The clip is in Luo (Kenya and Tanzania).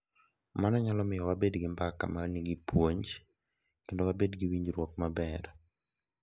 Mano nyalo miyo wabed gi mbaka ma nigi puonj kendo wabed gi winjruok maber.